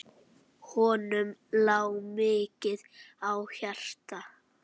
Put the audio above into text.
Honum lá mikið á hjarta.